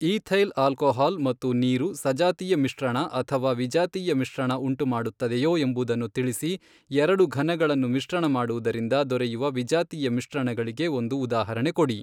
Ethyl alcohol ಮತ್ತು ನೀರು ಸಜಾತೀಯ ಮಿಶ್ರಣ ಅಥವಾ ವಿಜಾತೀಯ ಮಿಶ್ರಣ ಉಂಟು ಮಾಡುತ್ತದೆಯೋ ಎಂಬುದನ್ನು ತಿಳಿಸಿ ಎರಡು ಘನಗಳನ್ನು ಮಿಶ್ರಣ ಮಾಡುವುದರಿಂದ ದೊರೆಯುವ ವಿಜಾತೀಯ ಮಿಶ್ರಣಗಳಿಗೆ ಒಂದು ಉದಾಹರಣೆಗೆ ಕೊಡಿ.